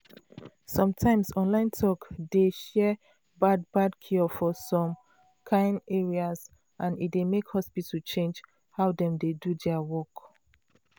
some times online talk dey share bad bad cure for some ares and e dey make hospital change how dem dey do their work.